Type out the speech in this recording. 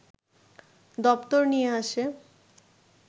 দপ্তর নিয়ে আসে